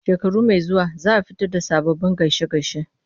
Shekaru masu zuwa za a fito da sababbin gaishe-gaishe.